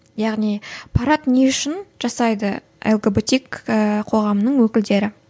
яғни парад не үшін жасайды лгбтик ііі қоғамының өкілдері